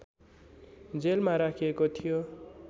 जेलमा राखिएको थियो